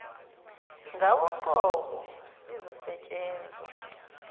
ngawe uqobo lizosetshenzwa